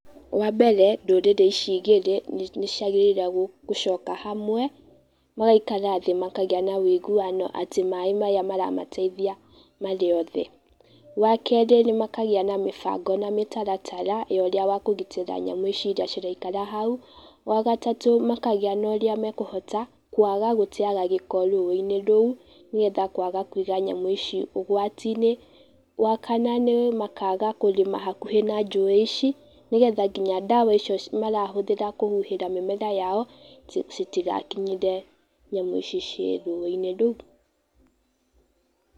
Wa mbere, ndũrĩrĩ ici igĩri nĩ ciagĩrĩrwo gũ gũcoka hamwe, magaikara thĩ makagia na wĩiguano atĩ maaĩ maya maramateithia marĩ othe. Wa kerĩ, nĩ makagĩa na mĩbango na mĩtaratara ya ũrĩa wa kũgitĩra nyamũ ici iria ciraikara hau, wa gatatũ, makagĩa na ũrĩa makũhota kwaga gũteaga gĩko rũĩ-inĩ rũu, nĩgetha kwaga kũiga nyamũ ici ũgwati-ĩnĩ, wa kana, nĩ makaga kũrĩma hakuhĩ na njũĩ ici, nĩgetha nginya ndawa icio marahũthĩra kũhuhĩra mĩmera yao citigakinyĩre nyamũ ici ci rũĩ-inĩ rũu.